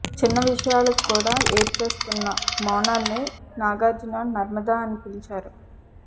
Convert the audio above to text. చిన్న విషయాలకు కూడా ఏడ్చేస్తున్న మోనాల్ ని నాగార్జున నర్మదా అని పిలిచారు